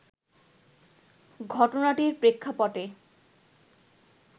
ঘটনাটির প্রেক্ষাপটে